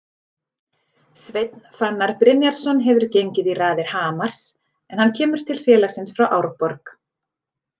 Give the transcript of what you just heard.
Sveinn Fannar Brynjarsson hefur gengið í raðir Hamars en hann kemur til félagsins frá Árborg.